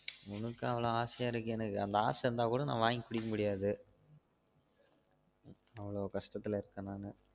உனக்கு அவளோ ஆசையா இருக்கு எனக்கு அந்த ஆச இருந்தா கூட நான் வாங்கி குடிக்க முடியாது அவளோ கஷ்டத்துல இருக்கன் நானு